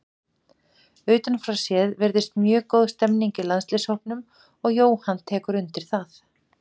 Utan frá séð virðist mjög góð stemning í landsliðshópnum og Jóhann tekur undir það.